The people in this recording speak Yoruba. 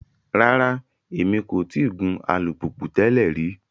Rara, Emi ko ti gun alupupu tẹlẹ ri